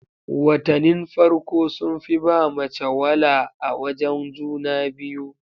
Watanin farko sun fi ba mace wala a wajen juna biyu